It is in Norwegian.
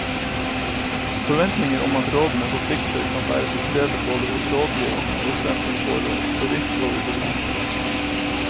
Forventninger om at rådene forplikter kan være til stede både hos rådgiverne og hos den som får råd, bevisst og ubevisst.